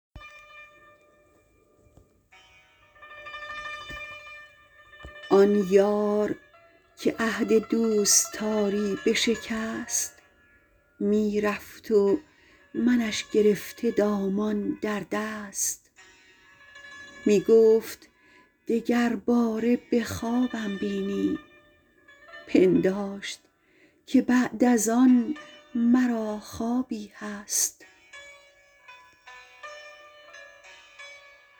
آن یار که عهد دوستاری بشکست می رفت و منش گرفته دامان در دست می گفت دگر باره به خوابم بینی پنداشت که بعد از آن مرا خوابی هست